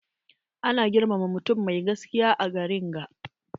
Ana girmama mutum mai gaskiya a garin ga.